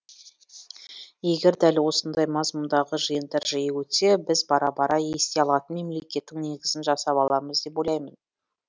егер дәл осындай мазмұндағы жиындар жиі өтсе біз бара бара ести алатын мемлекеттің негізін жасап аламыз деп ойлаймын